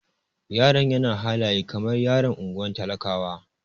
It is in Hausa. Yaron yana halaye kamar yaron ungwar talakawa.